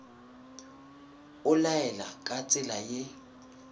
o laela ka tsela ye